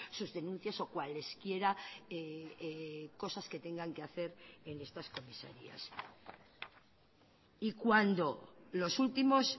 sus denuncias o cuales quiera cosas que tengan que hacer en estas comisarías y cuando los últimos